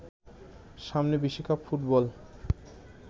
সামনে বিশ্বকাপ ফুটবল